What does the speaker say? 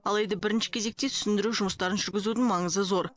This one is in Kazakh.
алайда бірінші кезекте түсіндіру жұмыстарын жүргізудің маңызы зор